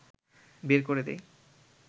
বের করে দেয়